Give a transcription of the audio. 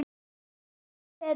Hvaða lið fellur???